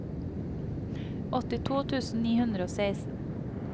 åttito tusen ni hundre og seksten